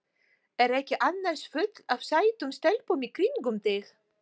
Er ekki annars fullt af sætum stelpum í kringum þig?